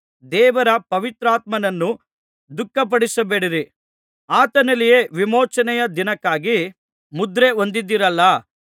ದೇವರ ಪವಿತ್ರಾತ್ಮನನ್ನು ದುಃಖಪಡಿಸಬೇಡಿರಿ ಆತನಲ್ಲಿಯೇ ವಿಮೋಚನೆಯ ದಿನಕ್ಕಾಗಿ ಮುದ್ರೆ ಹೊಂದಿದ್ದೀರಲ್ಲಾ